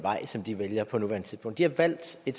danske